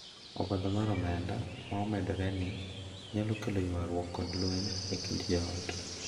Obadho mar omenda ma omedore ni nyalo kelo ywarruok kod lweny e kind jo ot,